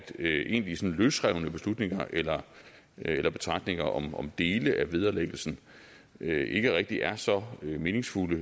egentlige løsrevne beslutninger eller eller betragtninger om om dele af vederlæggelsen ikke rigtig er så meningsfulde